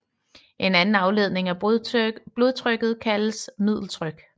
En anden afledning af blodtrykket kaldes middeltryk